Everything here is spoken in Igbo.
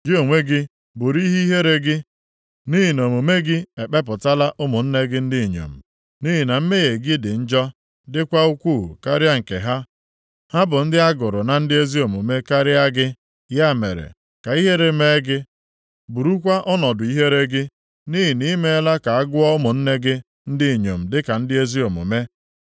Gị onwe gị buru ihe ihere gị, nʼihi na omume gị ekpepụtala ụmụnne gị ndị inyom. Nʼihi na mmehie gị dị njọ, dịkwa ukwuu karịa nke ha, ha bụ ndị a gụrụ na ndị ezi omume karịa gị. Ya mere, ka ihere mee gị, burukwa ọnọdụ ihere gị, nʼihi na ị meela ka a gụọ ụmụnne gị ndị inyom dịka ndị ezi omume.